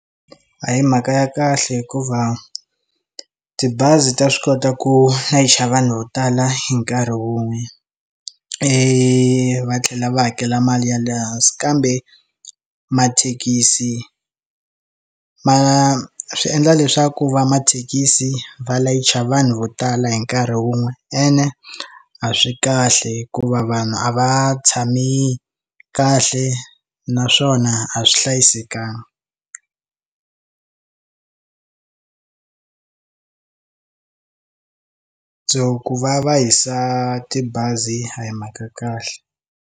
A hi mhaka ya kahle hikuva tibazi ta swi kota ku layicha vanhu vo tala hi nkarhi wun'we i va tlhela va hakela mali ya lehansi kambe mathekisi ma swi endla leswaku va mathekisi va layicha vanhu vo tala hi nkarhi wun'we ene a swi kahle hikuva vanhu a va tshami kahle na swona a swi hlayisekangi so ku va va hisa tibazi a hi mhaka ya kahle.